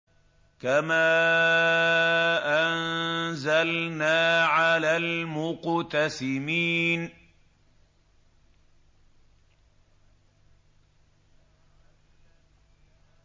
كَمَا أَنزَلْنَا عَلَى الْمُقْتَسِمِينَ